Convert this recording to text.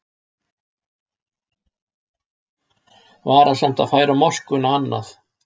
Varasamt að færa moskuna annað